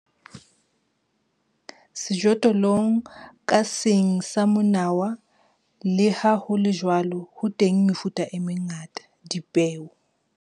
Sejothollong ka seng sa monawa, le ha ho le jwalo, ho teng mefuta e mengata, dipeo.